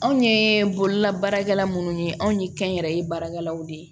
Anw ye bololabaarakɛla munnu ye anw ye kɛnyɛrɛye baarakɛlaw de ye